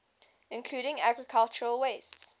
including agricultural wastes